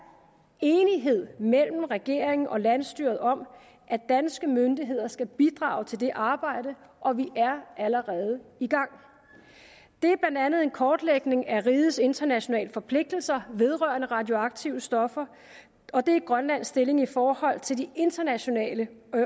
enighed mellem regeringen og landsstyret om at danske myndigheder skal bidrage til det arbejde og vi er allerede i gang det er blandt andet en kortlægning af rigets internationale forpligtelser vedrørende radioaktive stoffer og det er grønlands stilling i forhold til de internationale